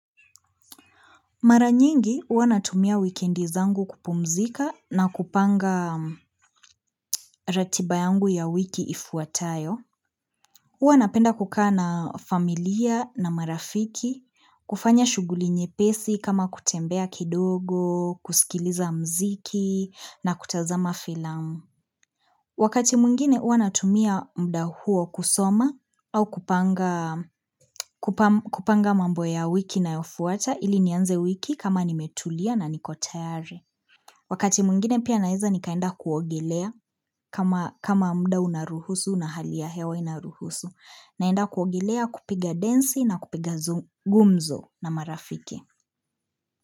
Maranyingi, hua natumia wikendi zangu kupumzika na kupanga ratibayangu ya wiki ifuatayo. Hua napenda kukaa na familia na marafiki, kufanya shughuli nyepesi kama kutembea kidogo, kusikiliza mziki na kutazama filamu. Wakati mwingine uanatumia mda huo kusoma au kupanga kupamb kupanga mambo ya wiki inayofuata ili nianze wiki kama nimetulia na nikotayari. Wakati mwingine pia naeza nikaenda kuogelea kama kama mda unaruhusu na hali ya hewa inaruhusu naenda kuogelea kupiga densi na kupiga zu gumzo na marafiki.